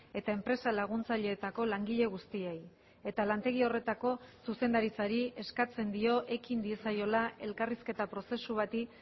eta enpresa laguntzaileetako langile guztiei eta lantegi horretako zuzendaritzari eskatzen dio ekin diezaiola elkarrizketa prozesu bati